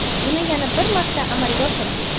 buni yana bir marta amalga oshiramiz.